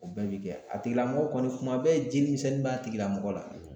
O bɛɛ bi kɛ a tigilamɔgɔ kɔni kuma bɛɛ jelimisɛnnin b'a tigilamɔgɔ la